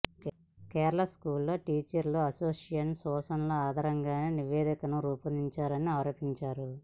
Kerala school teachers association సూచనల ఆధారంగానే నివేదికను రూపొందించారని ఆరోపించారు